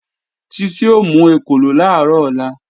Títí ó mú ekòló làárọ̀ ọ̀la